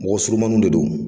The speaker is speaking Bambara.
Mɔgɔ surumannunw de don